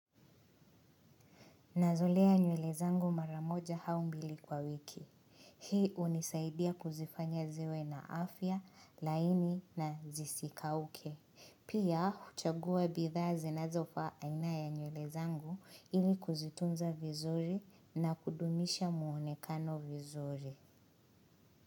Naweza lea nywele zangu maramoja hau mbili kwa wiki. Hii unisaidia kuzifanya ziwe na afya, laini na zisikauke. Pia, kuchagua bidhaa zinazofaa aina ya nywele zangu ili kuzitunza vizuri na kudumisha muonekano vizuri.